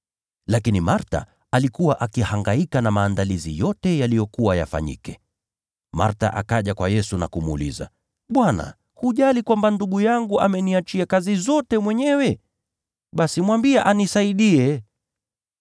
Lakini Martha alikuwa akihangaika na maandalizi yote yaliyokuwa yafanyike. Martha akaja kwa Yesu na kumuuliza, “Bwana, hujali kwamba ndugu yangu ameniachia kazi zote mwenyewe? Basi mwambie anisaidie.”